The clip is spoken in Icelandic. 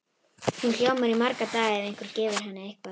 Hún ljómar í marga daga ef einhver gefur henni eitthvað.